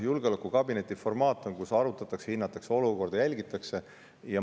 Julgeolekukabinetis arutatakse, hinnatakse ja jälgitakse olukorda.